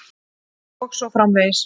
Og svo framvegis.